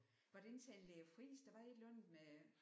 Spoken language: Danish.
Hvad det ikke tandlæge Friis der var et eller andet med